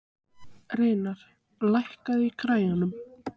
Reynar, lækkaðu í græjunum.